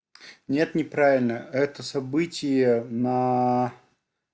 нет неправильно это событие на